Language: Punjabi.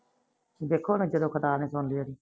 ਦੇਖੋ ਜਦੋ ਕਰਤਾਰ ਨੇ ਸੁਣਲੀ ਉਹਦੀ